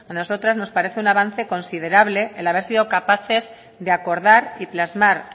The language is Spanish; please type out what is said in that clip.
nos parece un avance considerable el haber sido capaces de acordar y plasmar